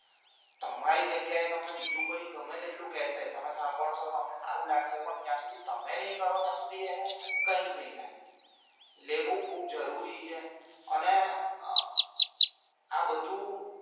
તમારી જગ્યાએ તમે બીજું કોઈ ગમે તેટલું કહેશે તમે સાંભળશો તમને સારું લાગશે પણ જય સુધી તમે નાઇ કરો ત્યાં સુધી એનું કઈજ નાઇ થાય એટલે એ ખુબ જરૂરી અને અ આ બધુ